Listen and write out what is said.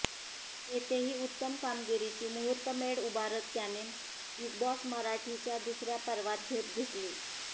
तिथेही उत्तम कामगिरीची मुहूर्तमेढ उभारत त्याने बिग बॉस मराठीच्या दुसऱ्या पर्वात झेप घेतली